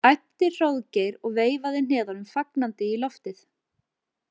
æpti Hróðgeir og veifaði hnefanum fagnandi í loftið.